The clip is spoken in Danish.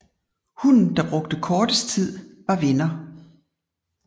Hunden der brugte kortest tid var vinder